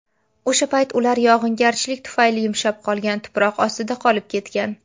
O‘sha payt ular yog‘ingarchilik tufayli yumshab qolgan tuproq ostida qolib ketgan.